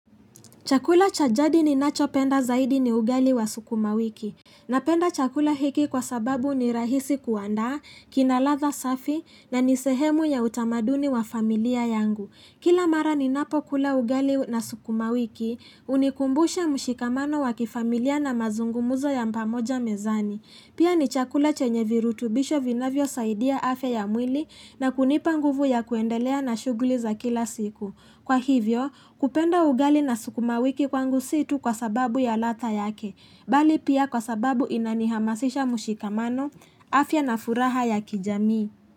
Chakula cha jadi ni nacho penda zaidi ni ugali wa sukuma wiki. Napenda chakula hiki kwa sababu ni rahisi kuandaa, kinaladha safi na nisehemu ya utamaduni wa familia yangu. Kila mara ninapo kula ugali na sukuma wiki, unikumbusha mshikamano wa kifamilia na mazungumuzo ya pamoja mezani. Pia ni chakula chenye virutubisho vinavyo saidia afya ya mwili na kunipa nguvu ya kuendelea na shughuli za kila siku. Kwa hivyo, kupenda ugali na sukuma wiki kwangu si tu kwa sababu ya ladha yake, bali pia kwa sababu inanihamasisha mushikamano, afya na furaha ya kijamii.